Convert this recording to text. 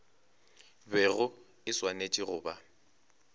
bego e swanetše go ba